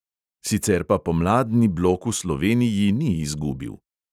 Sicer pa pomladni blok v sloveniji ni izgubil.